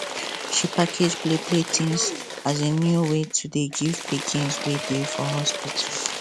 she package play play tins as new way to dey give pikins wey dey for hospital